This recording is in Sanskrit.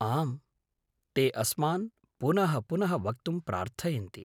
आम्, ते अस्मान् पुनःपुनः वक्तुं प्रार्थयन्ति।